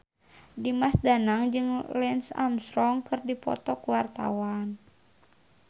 Dimas Danang jeung Lance Armstrong keur dipoto ku wartawan